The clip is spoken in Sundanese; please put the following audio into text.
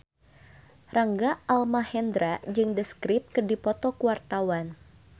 Rangga Almahendra jeung The Script keur dipoto ku wartawan